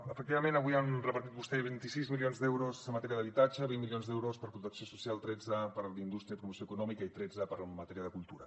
efectivament avui han repartit vostès vint sis milions d’euros en matèria d’habitatge vint milions d’euros per a protecció social tretze per a la indústria i promoció econòmica i tretze en matèria de cultura